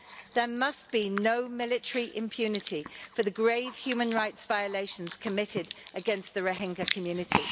There must be no military impunity for the grave human rights violations committed against the Rohingya community.